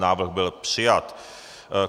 Návrh byl přijat.